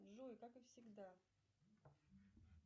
джой как и всегда